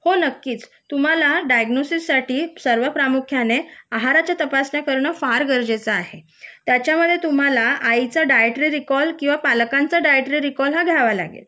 हो नक्कीच तुम्हाला डायग्नोसिस साठी सर्व प्रामुख्याने आहारच्या तपासण्या करणे फार महत्वाचे आहे त्याच्यामध्ये तुम्हाला आईच डाएट्री रीकॉल किंवा पालकांचे डाएट्री रीकॉल हा घ्यावा लागेल